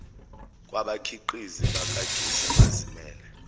kwabakhiqizi bakagesi abazimele